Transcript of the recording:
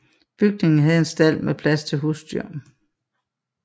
Bygningen havde en stald med plads til husdyr